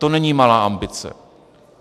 To není malá ambice.